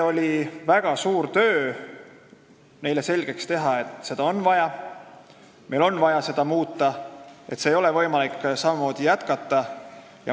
Oli väga suur töö neile selgeks teha, et seda on vaja, meil on vaja seda muuta, ei ole võimalik vanamoodi jätkata.